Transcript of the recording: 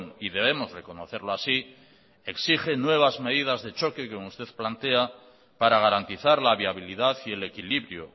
y debemos reconocerlo así exige nuevas medidas de choque como usted plantea para garantizar la viabilidad y el equilibrio